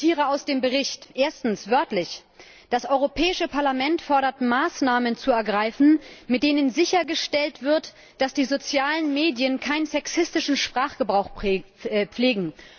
Ich zitiere wörtlich aus dem Bericht Erstens Das Europäische Parlament fordert, Maßnahmen zu ergreifen, mit denen sichergestellt wird, dass die sozialen Medien keinen sexistischen Sprachgebrauch pflegen.